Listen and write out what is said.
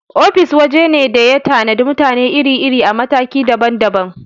Ofis waje ne da ya tanadi mutane iri-iri a mataki daban daban.